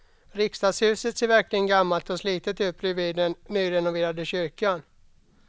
Riksdagshuset ser verkligen gammalt och slitet ut bredvid den nyrenoverade kyrkan.